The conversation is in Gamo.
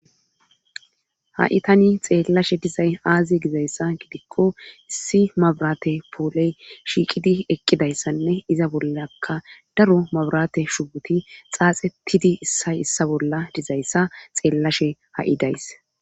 Ha7i tani xeellashe dizay aazi gizayssa gidikko issi mabrate pooley shiiqidi eqqidayssanne iza bollaka daro mabrate shubuti xaaxe pidi issay issa bolla dizayssa xeellashe ha7i days.